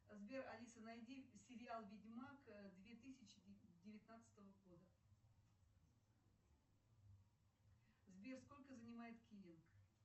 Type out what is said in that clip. сбер алиса найди сериал ведьмак две тысячи девятнадцатого года сбер сколько занимает киллинг